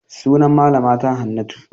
Sunan malama ta Hannatu.